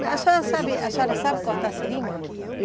Mas a senhora sabe a senhora sabe cortar seringa?